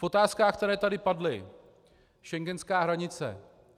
V otázkách, které tady padly - schengenská hranice.